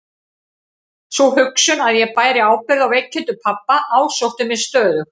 Sú hugsun að ég bæri ábyrgð á veikindum pabba ásótti mig stöðugt.